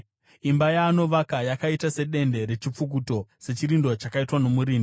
Imba yaanovaka yakaita sedende rechipfukuto, sechirindo chakaitwa nomurindi.